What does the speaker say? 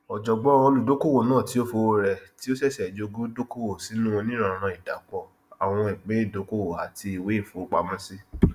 ọjọgbọn olùdókòwò náà fi owó rẹ tí ó ṣẹṣẹ jogún dókòwò sínú onírànran ìdàpọ àwọn ìpín ìdókòwò àti ìwé ìfowópamọsí